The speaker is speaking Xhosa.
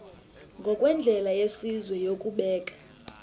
ngokwendlela yesizwe yokubeka